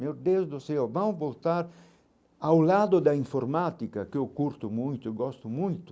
Meu Deus do céu, vamos voltar ao lado da informática, que eu curto muito, eu gosto muito.